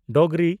Dogri